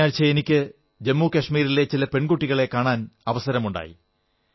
കഴിഞ്ഞയാഴ്ച എനിക്ക് ജമ്മു കശ്മീരിലെ ചില പെൺകുട്ടികളെ കാണാൻ അവസരമുണ്ടായി